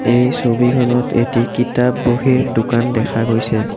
এই ছবিখনত এটি কিতাপ বহীৰ দোকান দেখা গৈছে।